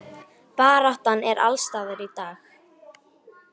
Baráttan er alls staðar í dag.